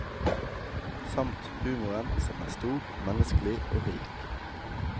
Samt humoren, som er stor, menneskelig og rik.